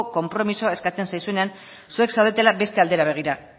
konpromisoa eskatzen zaizuenean zuek zaudetela beste aldera begira